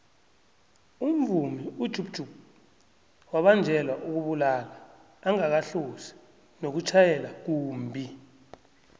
umvumi ujub jub wabanjelwa ukubulala angakahlosi nokutjhayela kumbhi